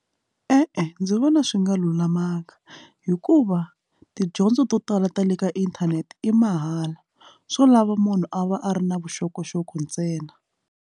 E-e, ndzi vona swi nga lulamanga hikuva tidyondzo to tala ta le ka inthanete i mahala swo lava munhu a va a ri na vuxokoxoko ntsena.